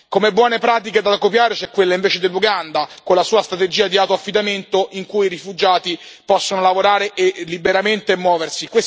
Come buone pratiche da copiare c'è quella invece dell'Uganda con la sua strategia di autoaffidamento, in cui i rifugiati possono lavorare liberamente e muoversi.